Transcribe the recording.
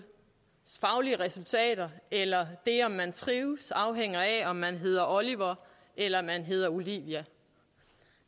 faglige resultater eller det om man trives afhænger af om man hedder oliver eller man hedder olivia